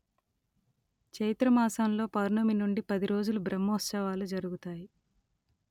చైత్ర మాసంలో పౌర్ణమి నుండి పది రోజులు బ్రహ్మోత్సవాలు జరుగుతాయి